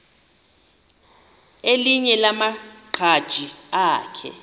elinye lamaqhaji akhe